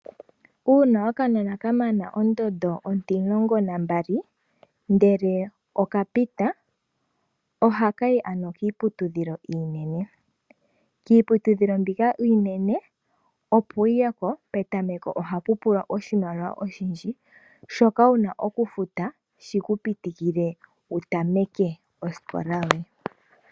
Uuna okanona ka mana ondondo ontumulongo na mbali ndele okapita, ohaka yi ano kiiputudhilo iinene. Kiiputudhilo mbika iinene opo wu ye ko, petameko oha pu pulwa oshimaliwa oshindji, shoka wuna okufuta shi ku pitikile wu tameke osikola yoye.